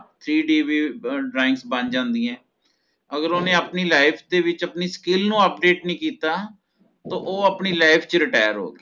CDV drawings ਬਣ ਜਾਂਦੀ ਹੈ ਅਗਰ ਓਹਨੇ ਆਪਣੀ life ਦੇ ਵਿੱਚ ਆਪਣੀ skill ਨੂੰ update ਨੀ ਕਿੱਤਾ ਤਹ ਓਹ ਆਪਣੀ life ਚ retire ਹੋ ਗਿਆ